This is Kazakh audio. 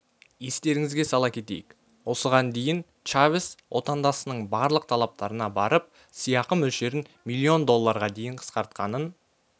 естеріңізге сала кетейік осыған дейін чавес отандасының барлық талаптарына барып сыйақы мөлшерін миллион долларға дейін қысқартқанын